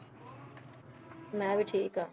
ਮੈ ਵੀ ਠੀਕ ਆ